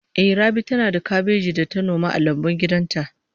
Ehh, Rabi tana da kabeji da ta noma a lambun gidan ta